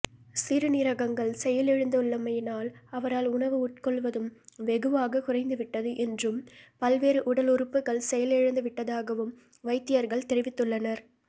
சிறுநீரகங்கள் செயலிழந்துள்ளமையினால் அவரால் உணவு உட்கொள்வதும் வெகுவாக குறைந்துவிட்டது என்றும் பல்வேறு உடல் உறுப்புகள் செயலிழந்துவிட்டதாகவும் வைத்தியர்கள் தெரிவித்துள்ளனர்